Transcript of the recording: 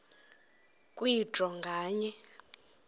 kwe draw nganye